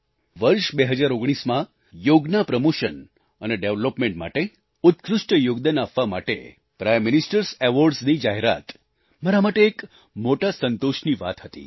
વર્ષ 2019માં યોગના પ્રમોશન અને ડેવલપમેન્ટ માટે ઉત્કૃષ્ટ યોગદાન આપવા માટે પ્રાઇમ ministerએસ એવોર્ડ્સ ની જાહેરાત મારા માટે એક મોટા સંતોષની વાત હતી